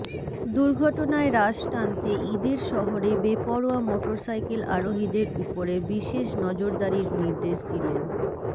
দুর্ঘটনায় রাশ টানতে ইদের শহরে বেপরোয়া মোটরসাইকেল আরোহীদের উপরে বিশেষ নজরদারির নির্দেশ দিলেন